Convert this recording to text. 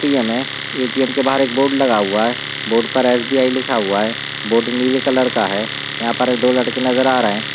ATM. है ATM. के बहार एक बोर्ड लगा हुआ है बोर्ड पर एस.बी.आई. लिखा हुआ है बोर्ड नीले कलर का है यहाँ पर दो लड़के नजर आ रहै हैं।